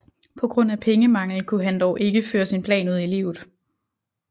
På grund af pengemangel kunne han dog ikke føre sin plan ud i livet